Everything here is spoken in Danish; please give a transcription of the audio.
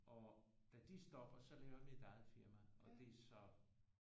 Og da de stopper så laver jeg mit eget firma og det er så